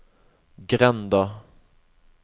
grenda